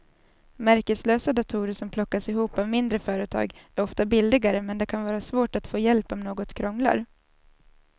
Märkeslösa datorer som plockas ihop av mindre företag är ofta billigare men det kan vara svårt att få hjälp om något krånglar.